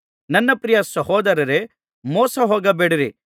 ನನ್ನ ಪ್ರಿಯ ಸಹೋದರರೇ ಮೋಸಹೋಗಬೇಡಿರಿ